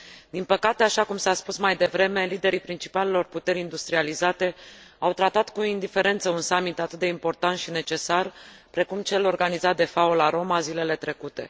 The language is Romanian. Din păcate, așa cum s a spus mai devreme, liderii principalilor puteri industrializate au tratat cu indiferență un summit atât de important și necesar, precum cel organizat de FAO la Roma zilele trecute.